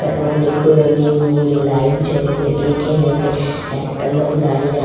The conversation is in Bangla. আ আ অনেকগুলো নীল নীল লাইট জ্বলছে এইখানেতে একটা লোক দাঁড়িয়ে আ--